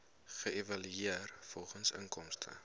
geëvalueer volgens inkomste